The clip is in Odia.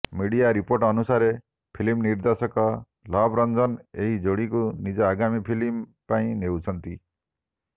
ମିଡିଆ ରିପୋର୍ଟ ଅନୁସାରେ ଫିଲ୍ମ ନିର୍ଦ୍ଦେଶକ ଲଭ୍ ରଞ୍ଜନ ଏହି ଯୋଡ଼ିଙ୍କୁ ନିଜ ଆଗାମୀ ଫିଲ୍ମ ପାଇଁ ନେଉଛନ୍ତି